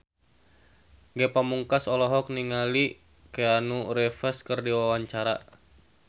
Ge Pamungkas olohok ningali Keanu Reeves keur diwawancara